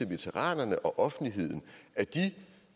veteranerne og offentligheden at de